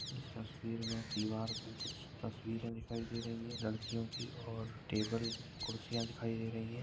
इस तस्वीर मे दीवार पे कुछ तस्वीरे दिखाई दे रही है लड़कियो की और टेबल कुर्सियां दिखाई दे रही है।